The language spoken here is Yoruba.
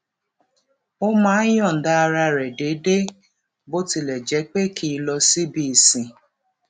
ó máa ń yòǹda ara rè déédéé bó tilè jé pé kì í lọ síbi ìsìn